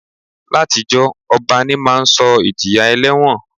Látijọ́, ọba ní máa ń sọ ìjìyà ẹlẹ́wọ̀n